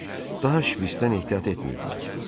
Daha Şvitsdən ehtiyat etmirdilər.